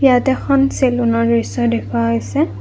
ইয়াত এখন চেলুনৰ দৃশ্য দেখুওৱা হৈছে।